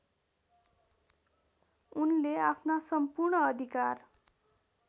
उनले आफ्ना सम्पूर्ण अधिकार